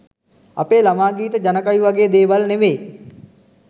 අපේ ළමා ගීත ජන කවි වගේ දේවල් නෙවේ